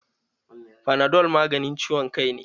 Fanadol maganin ciwon kai ne.